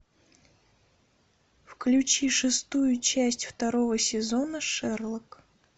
включи шестую часть второго сезона шерлок